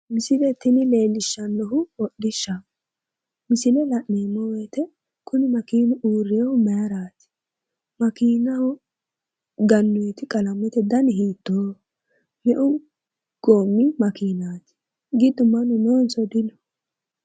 Misile tini leellishshannohu hodhishshaho misile la'neemmo woyte kuni makiinu uurreyohu mayraati makiinaho gannoyti qalamete dani hiittooho me"u goommi makiinaati giddo mannu noonso dino